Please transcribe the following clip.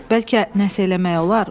Bəlkə nə isə eləmək olar.